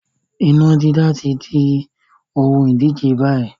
Iná dídá tí di ohun ìdíje báyìí